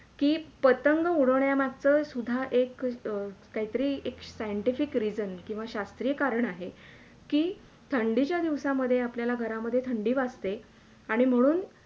कि पतंग उडवण्या मागचं सुदधा एक काही तरी एक Scientific reason किंवा शास्त्रीय कारण आहे कि थंडीच्या दिवसामधे आपल्याला घरामधे थंडी वाजते आणि म्हणून